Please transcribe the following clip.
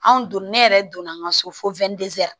Anw don ne yɛrɛ donna an ka so fo